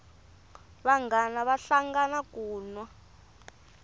vanghana vahlangana ku nwa